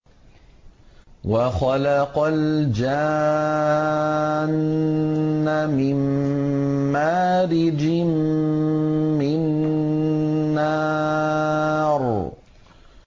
وَخَلَقَ الْجَانَّ مِن مَّارِجٍ مِّن نَّارٍ